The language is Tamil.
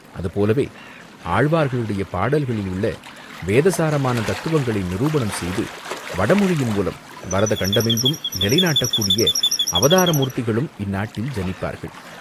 அதுபோலவே ஆழ்வார்களுடைய பாடல்களில் உள்ள வேத சாரமான தத்துவங்களை நிரூபணம் செய்து, வடமொழியின் மூலம் பரத கண்டமெங்கும் நிலை நாட்டக்கூடிய அவதார மூர்த்திகளும் இந்நாட்டில் ஜனிப்பார்கள்.